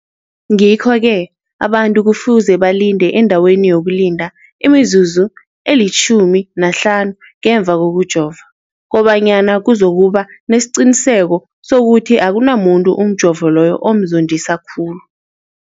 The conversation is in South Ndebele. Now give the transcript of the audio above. Ngikho-ke abantu kufuze balinde endaweni yokulinda imizuzu eli-15 ngemva kokujova, kobanyana kuzokuba nesiqiniseko sokuthi akunamuntu umjovo loyo omzondisa khulu.